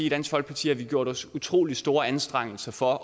i dansk folkeparti har gjort os utrolig store anstrengelser for